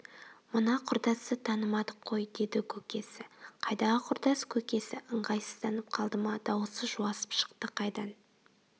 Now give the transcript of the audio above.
мына құрдасты танымадық қой деді көкесі қайдағы құрдас көкесі ыңғайсызданып қалды ма дауысы жуасып шықты қайдан